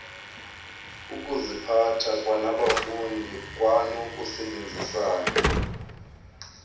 ukuziphatha kwabafundi kwanokusebenzisana